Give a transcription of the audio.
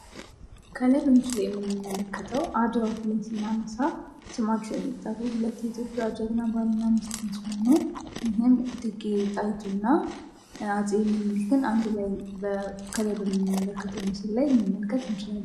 ከላይ በምስሉ የምንመለከተው አድዋን ስናነሳ ስማቸው የሚጠራው ሁሐት የኢትዮጵያ ጀግና ባልና ሚስት ሲሆኑ ይሄም እቴጌ ጣይቱ እና አፄ ሚኒሊክን አንድላይ ከላይ በምስል ላይ መመልከት ችለናል።